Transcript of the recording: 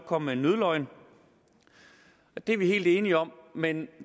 komme med en nødløgn og det er vi helt enige om men